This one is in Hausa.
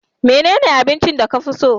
menene abincin da ka fi so?